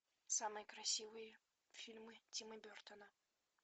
самые красивые фильмы тима бертона